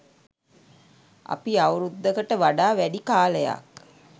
අපි අවුරුද්දකට වඩා වැඩි කාලයක්